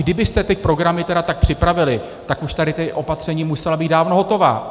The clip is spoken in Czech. Kdybyste ty programy tedy tak připravili, tak už tady ta opatření musela být dávno hotová.